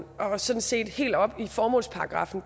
og sådan set helt op i formålsparagraffen